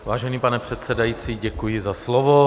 Vážený pane předsedající, děkuji za slovo.